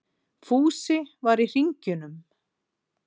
Fúsi var í hringjunum.